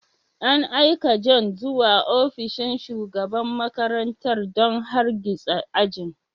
An aika John zuwa ofishin shugaban makarantar don hargitsa ajin.